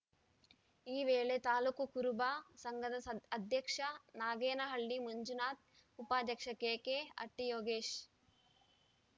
ಈ ವೇಳೆ ತಾಲೂಕು ಕುರುಬ ಸಂಘದ ಸ ಅಧ್ಯಕ್ಷ ನಾಗೇನಹಳ್ಳಿ ಮಂಜುನಾಥ್‌ ಉಪಾಧ್ಯಕ್ಷ ಕೆಕೆಹಟ್ಟಿಯೋಗೇಶ್‌